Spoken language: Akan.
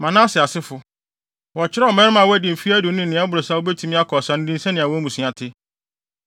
Manase asefo: Wɔkyerɛw mmarima a wɔadi mfe aduonu ne nea ɛboro saa a wobetumi akɔ ɔsa no din sɛnea wɔn mmusua te.